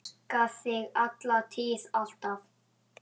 Elska þig, alla tíð, alltaf.